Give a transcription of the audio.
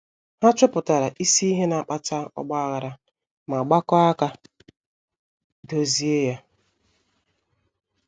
Ha chọpụtara isi ihe na-akpata ọgba aghara ma gbakọọ aka dozie ya.